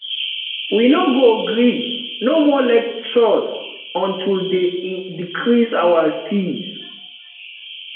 we no go gree no more lectures until dey decrease our fees